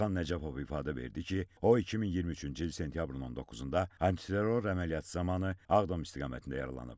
Orxan Nəcəbov ifadə verdi ki, o 2023-cü il sentyabrın 19-da antiterror əməliyyatı zamanı Ağdam istiqamətində yaralanıb.